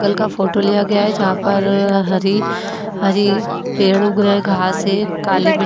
photo लिया गया है जहां पर अह हरी-हरी पेड़ उग रहे हैं घास है काले--